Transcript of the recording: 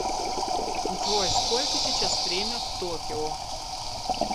джой сколько сейчас время в токио